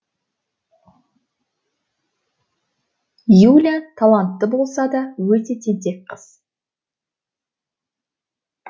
юля талантты болса да өте тентек қыз